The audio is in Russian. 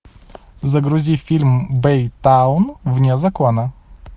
загрузи фильм бэйтаун вне закона